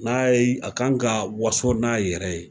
N'a ye, a kan ka waso n'a yɛrɛ ye.